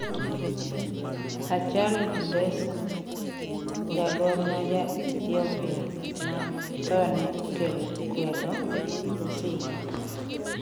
Hachalu Hundessa: Jagor ma ja Ethiopia ma thone okelo kwedo oseyik